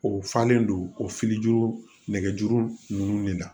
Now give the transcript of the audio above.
O falen don o fili juru nɛgɛjuru ninnu de la